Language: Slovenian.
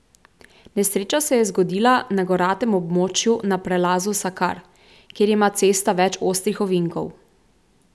Nesreča se je zgodila na goratem območju na prelazu Sakar, kjer ima cesta več ostrih ovinkov.